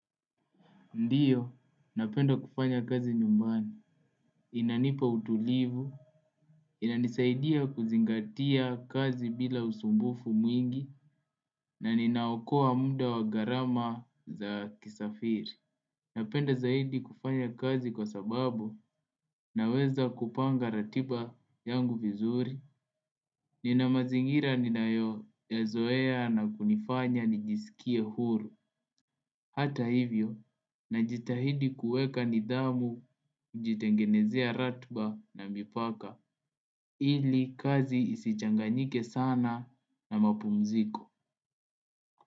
Ndiyo, napenda kufanya kazi nyumbani, inanipa utulivu, inanisaidia kuzingatia kazi bila usumbufu mwingi, na ninaokoa mda wa gharama za kisafiri. Napenda zaidi kufanya kazi kwa sababu naweza kupanga ratiba yangu vizuri. Nina mazingira ninayo yazoea na kunifanya nijisikie huru. Hata hivyo najitahidi kuweka nidhamu, kujitengenezia ratba na mipaka. Ili kazi isichanganyike sana na mapumziko.